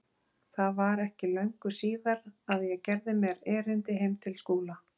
Það var ekki löngu síðar að ég gerði mér erindi heim til Skúla.